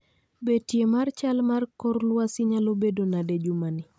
Betie mar chal mar kor lwasi nyalo bedo nade jumani